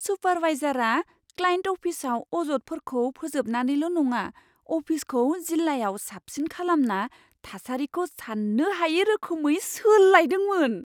सुपारवाइजारआ client अफिसआव अजदफोरखौ फोजोबनानैल' नङा, अफिसखौ जिल्लायाव साबसिन खालामना थासारिखौ सान्नो हायै रोखोमै सोलायदोंमोन।